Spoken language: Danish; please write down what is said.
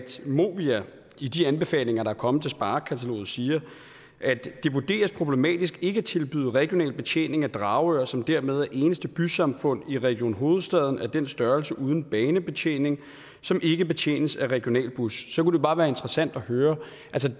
movia i de anbefalinger der er kommet til sparekataloget siger at det vurderes problematisk ikke at tilbyde regional betjening af dragør som dermed er det eneste bysamfund i region hovedstaden af den størrelse uden banebetjening og som ikke betjenes af en regional bus så kunne det bare være interessant at høre